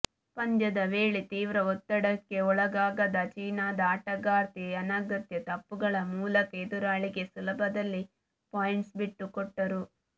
ಪಂದ್ಯದ ವೇಳೆ ತೀವ್ರ ಒತ್ತಡಕ್ಕೆ ಒಳಗಾಗದ ಚೀನಾದ ಆಟಗಾರ್ತಿ ಅನಗತ್ಯ ತಪ್ಪುಗಳ ಮೂಲಕ ಎದುರಾಳಿಗೆ ಸುಲಭದಲ್ಲಿ ಪಾಯಿಂಟ್ಸ್ ಬಿಟ್ಟುಕೊಟ್ಟರು